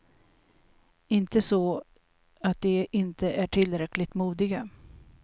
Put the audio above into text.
Inte så att de inte är tillräckligt modiga.